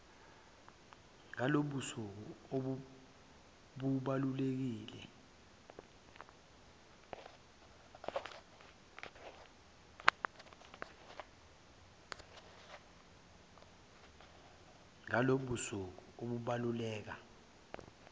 ngalobu busuku obubaluleke